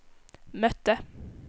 mötte